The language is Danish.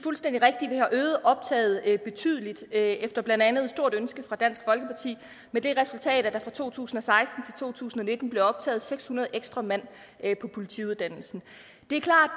fuldstændig rigtigt at vi har øget optaget betydeligt efter blandt andet et stort ønske fra dansk folkeparti med det resultat at der fra to tusind og seksten to tusind og nitten blev optaget seks hundrede ekstra mand på politiuddannelsen det er klart